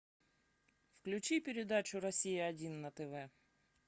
включи передачу россия один на тв